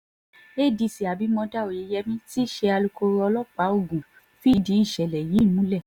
adc abimodá oyeyèmí tí í ṣe alūkkoro ọlọ́pàá ogun fìdí ìṣẹ̀lẹ̀ yìí múlẹ̀